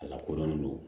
A lakodɔnnen do